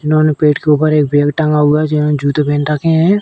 जिन्होंने पीठ के ऊपर एक बैग टांगा हुआ है जिन्होंने जूते पहन रखे हैं।